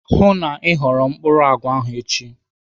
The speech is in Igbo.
Hụụ na Ị ghọrọ mkpụrụ àgwà ahụ echi.